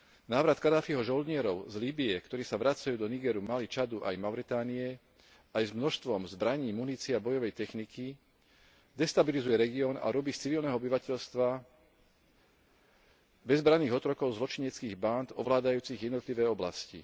Návrat Kaddáfiho žoldnierov z Líbye, ktorí sa vracajú do Nigeru, Mali, Čadu aj Mauritánie aj s množstvom zbraní, munície a bojovej techniky, destabilizuje región a robí z civilného obyvateľstva bezbranných otrokov zločineckých bánd ovládajúcich jednotlivé oblasti.